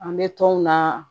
An bɛ tɔn na